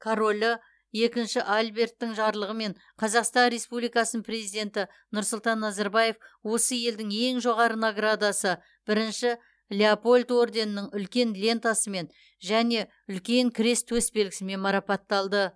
королі екінші альберттің жарлығымен қазақстан республикасының президенті нұрсұлтан назарбаев осы елдің ең жоғары наградасы бірінші леопольд орденінің үлкен лентасымен және үлкен крест төсбелгісімен марапатталды